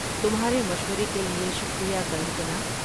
تمہارے مشورے کے لیے شکریہ کنگکنا۔